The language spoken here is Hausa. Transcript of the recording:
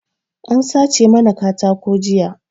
An sace mana katako jiya